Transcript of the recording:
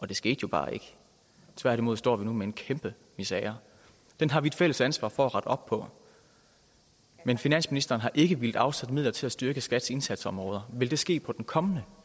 det skete jo bare ikke tværtimod står vi nu med en kæmpe misere den har vi et fælles ansvar for at rette op på men finansministeren har ikke villet afsætte midler til at styrke skats indsatsområder vil det ske på den kommende